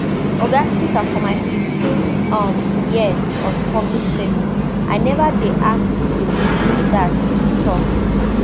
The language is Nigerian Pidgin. oga speaker for my fifteen um years of public service i neva dey asked to do dat e tok